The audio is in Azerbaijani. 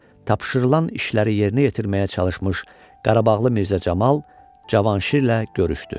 tapşırılan işləri yerinə yetirməyə çalışmış Qarabağlı Mirzə Camal Cavanşirlə görüşdü.